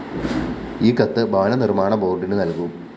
ഈ കത്ത് ഭവനനിര്‍മ്മാണ ബോര്‍ഡിന് നല്‍കും